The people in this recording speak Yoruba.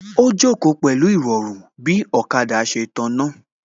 Ó jókòó pẹ̀lú Ìrọ̀rùn bí ọ̀kada ṣe tàná